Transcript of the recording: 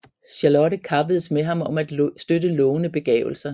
Charlotte kappedes med ham om at støtte lovende begavelser